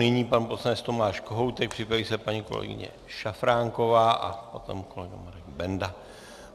Nyní pan poslanec Tomáš Kohoutek, připraví se paní kolegyně Šafránková a potom kolega Marek Benda.